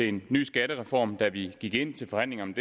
en ny skattereform da vi gik ind til forhandlingerne